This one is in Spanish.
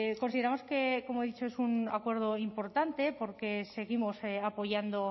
consideramos que como he dicho es un acuerdo importante porque seguimos apoyando